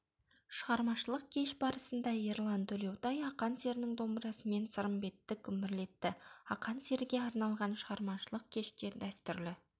шығармашылық кеш барысында ерлан төлеутай ақан серінің домбырасымен сырымбетті күмбірлетті ақан серіге арналған шығармашылық кеште дәстүрлі